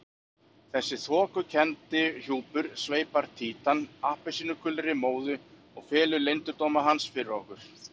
Þessi þokukenndi hjúpur sveipar Títan appelsínugulri móðu og felur leyndardóma hans fyrir okkur.